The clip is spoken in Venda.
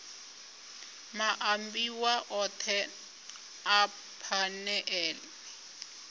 maambiwa othe a phanele a